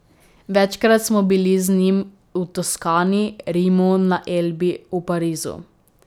Večkrat smo bili z njim v Toskani, Rimu, na Elbi, v Parizu.